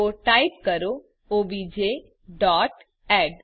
તો ટાઈપ કરો OBJ dot add